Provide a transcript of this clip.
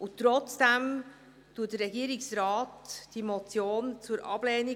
Trotzdem empfiehlt der Regierungsrat die Motion zur Ablehnung.